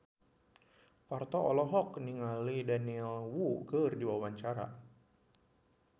Parto olohok ningali Daniel Wu keur diwawancara